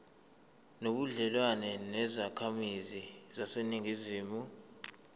nobudlelwane nezakhamizi zaseningizimu